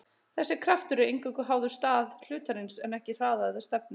Þessi kraftur er eingöngu háður stað hlutarins en ekki hraða eða stefnu.